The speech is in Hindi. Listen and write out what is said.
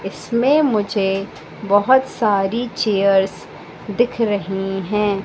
इसमें मुझे बहोत सारी चेयर्स दिख रही हैं।